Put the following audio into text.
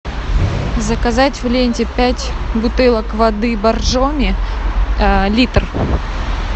заказать в ленте пять бутылок воды боржоми литр